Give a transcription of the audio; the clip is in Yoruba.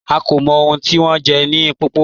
À kò mọ̀ ọ̀hun tí wọn jẹ̀ ni Mpopo